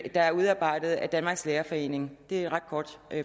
er udarbejdet af danmarks lærerforening det er et ret kort